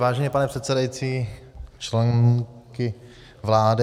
Vážený pane předsedající, členky vlády...